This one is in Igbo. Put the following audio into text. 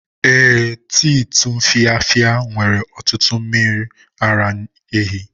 Ee, tii tumfafiya nwere ọtụtụ mmiri ara ehi.